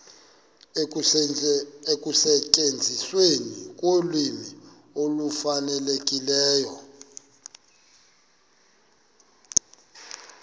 ekusetyenzisweni kolwimi olufanelekileyo